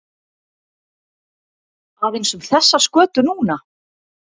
Aðeins um þessa skötu núna?